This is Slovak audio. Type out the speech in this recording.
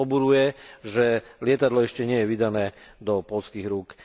Mňa to poburuje, že lietadlo ešte nie je vydané do poľských rúk.